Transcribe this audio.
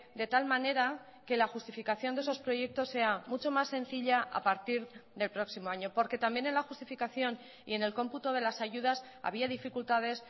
de tal manera que la justificación de esos proyectos sea mucho más sencilla a partir del próximo año porque también en la justificación y en el cómputo de las ayudas había dificultades